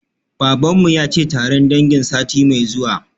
Baban mu yace taron dangi sati mai zuwa